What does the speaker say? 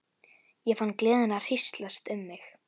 Ég fann gleðina hríslast um mig.